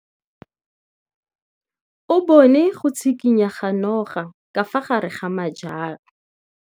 O bone go tshikinya ga noga ka fa gare ga majang.